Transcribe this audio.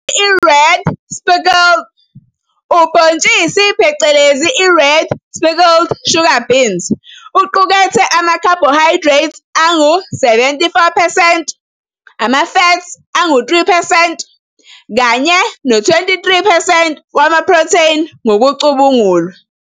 Ubhontshisi phecelezi i-red speckled sugar beans uqukethe amakhabhohayidrethi angu-74 percent, ama-fat angu-3 percent kanye no-23 percent wamaphrotheni ngokucubungulwa.